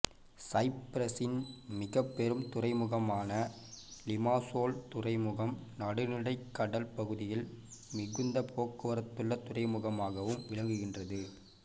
சைப்பிரசின் மிகப்பெரும் துறைமுகமான லிமாசோல் துறைமுகம் நடுநிலக் கடல் பகுதியில் மிகுந்த போக்குவரத்துள்ள துறைமுகமாகவும் விளங்குகின்றது